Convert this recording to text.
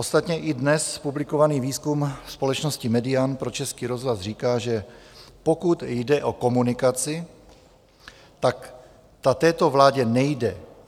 Ostatně i dnes publikovaný výzkum společnosti Median pro Český rozhlas říká, že pokud jde o komunikaci, ta této vládě nejde.